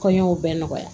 Kɔɲɔw bɛɛ nɔgɔya